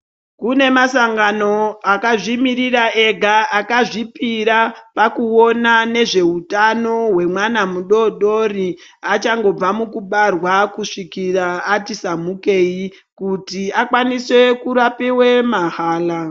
Kune mashangano akazvimiririra ega akazvipira kuona nezveutano hwemwana mudodori achangobva mukubarwa kusvikira ati samukei kuti akwanise kurapiwe mahala.